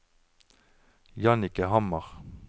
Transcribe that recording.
Jannicke Hammer